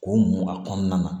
K'o mun a kɔnɔna na